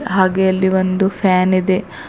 ಹಾಗೆ ಇಲ್ಲಿ ಒಂದು ಫ್ಯಾನ್ ಇದೆ.